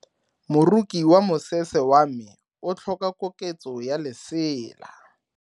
Moroki wa mosese wa me o tlhoka koketso ya lesela.